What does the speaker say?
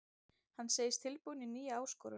Hann segist tilbúinn í nýja áskorun.